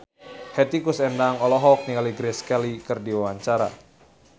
Hetty Koes Endang olohok ningali Grace Kelly keur diwawancara